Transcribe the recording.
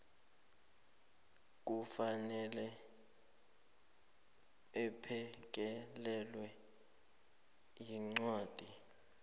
kufanele aphekelelwe yincwadi